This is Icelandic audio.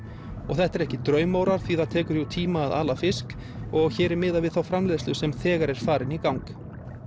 þetta eru ekki draumórar því það tekur jú tíma að ala fisk og hér er miðað við þá framleiðslu sem þegar er farin í gang